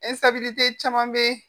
caman bɛ